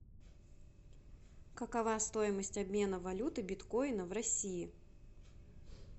какова стоимость обмена валюты биткоина в россии